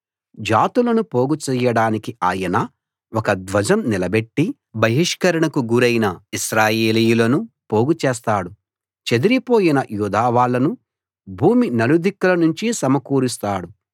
జాతులను పోగు చెయ్యడానికి ఆయన ఒక ధ్వజం నిలబెట్టి బహిష్కరణకు గురైన ఇశ్రాయేలీయులను పోగుచేస్తాడు చెదిరి పోయిన యూదా వాళ్ళను భూమి నలుదిక్కుల నుంచి సమకూరుస్తాడు